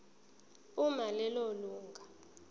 uma lelo lunga